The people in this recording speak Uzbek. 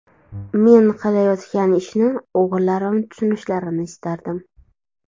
Men qilayotgan ishni o‘g‘illarim tushunishlarini istardim.